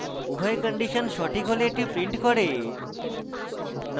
উভয় কন্ডিশন সঠিক হলে এটি prints করে: